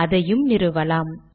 அதையும் நிறுவலாம்